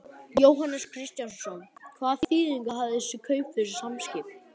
Jóhannes Kristjánsson: Hvaða þýðingu hafa þessi kaup fyrir Samskip?